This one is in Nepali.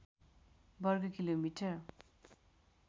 वर्ग किलोमिटर